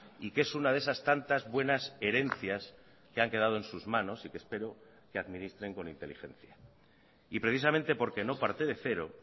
y que es una de esas tantas buenas herencias que han quedado en sus manos y que espero que administren con inteligencia y precisamente porque no parte de cero